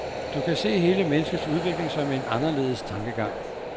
Du kan se hele menneskets udvikling som en anderledes tankegang.